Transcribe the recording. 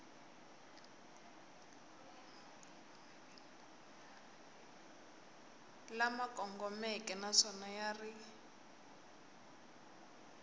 lama kongomeke naswona ya ri